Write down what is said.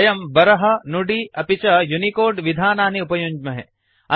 वयं बारः नुदि अपि च यूनिकोड विधानानि उपयुञ्ज्महे